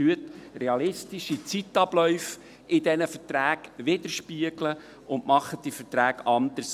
Spiegeln Sie in diesen Verträgen realistische Zeitabläufe wider und machen Sie diese Verträge anders!